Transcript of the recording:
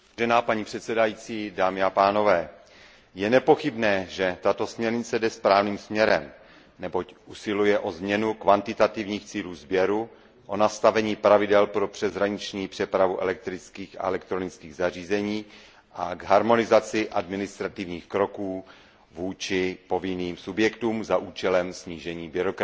Je nepochybné, že tato směrnice jde správným směrem, neboť usiluje o změnu kvantitativních cílů sběru, o nastavení pravidel pro přeshraniční přepravu elektrických a elektronických zařízení a o harmonizaci administrativních kroků vůči povinným subjektům za účelem snížení byrokracie.